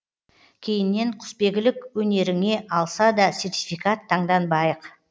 кейіннен құсбегілік өнеріңе алса да сертификат таңданбайық